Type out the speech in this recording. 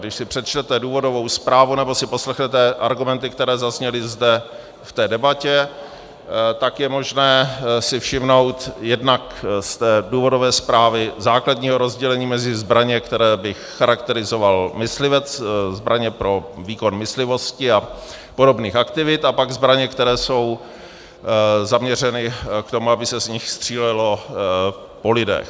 Když si přečtete důvodovou zprávu nebo si poslechnete argumenty, které zazněly zde v té debatě, tak je možné si všimnout jednak z té důvodové zprávy základního rozdělení mezi zbraně, které bych charakterizoval myslivec, zbraně pro výkon myslivosti a podobných aktivit, a pak zbraně, které jsou zaměřeny k tomu, aby se z nich střílelo po lidech.